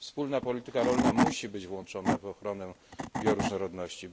Wspólna Polityka Rolna musi być włączona w ochronę bioróżnorodności.